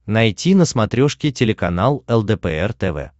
найти на смотрешке телеканал лдпр тв